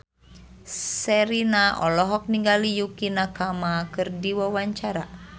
Sherina olohok ningali Yukie Nakama keur diwawancara